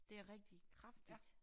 Det er rigtig kraftigt